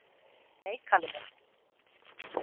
"""Nei, Kalli minn."""